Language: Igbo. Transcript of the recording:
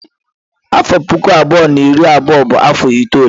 Afọ puku abụọ na iri abụọ bụ afọ itule.